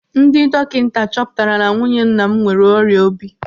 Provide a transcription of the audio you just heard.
Ndị dọkịta chọpụtara na nwunye nna m nwere ọrịa obi.